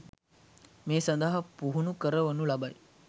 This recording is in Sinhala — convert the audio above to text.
මේ සඳහා පුහුණු කරවනු ලබයි